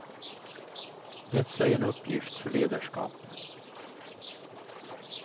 Detta är en uppgift för ledarskap.